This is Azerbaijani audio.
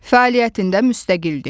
Fəaliyyətində müstəqildir.